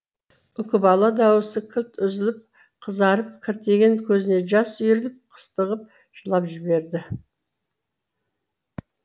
үкібала даусы кілт үзіліп қызарып кіртиген көзіне жас үйіріліп қыстығып жылап жіберді